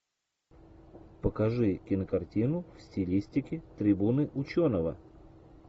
покажи кинокартину в стилистике трибуны ученого